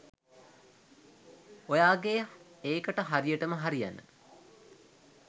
ඔයාගේ එකට හරියටම හරියන